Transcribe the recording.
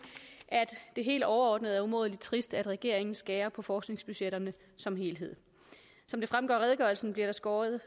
at det helt overordnet er umådelig trist at regeringen skærer ned på forskningsbudgetterne som helhed som det fremgår af redegørelsen bliver der skåret